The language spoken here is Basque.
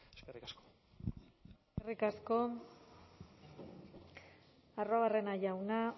eskerrik asko eskerrik asko arruabarrena jauna